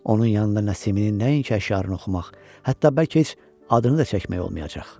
Onun yanında Nəsiminin nəinki əşyarını oxumaq, hətta bəlkə heç adını da çəkmək olmayacaq.